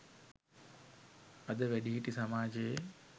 අද වැඩිහිටි සමාජයේ